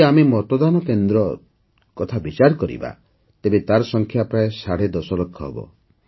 ଯଦି ଆମେ ମତଦାନ କେନ୍ଦ୍ର କଥା ବିଚାର କରିବା ତେବେ ତାର ସଂଖ୍ୟା ପ୍ରାୟ ସାଢ଼େ ଦଶଲକ୍ଷ ହେବ